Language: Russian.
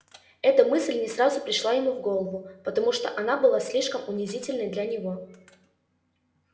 эта мысль не сразу пришла ему в голову потому что она была слишком унизительной для него